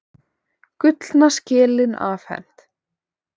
Gullna skelin afhent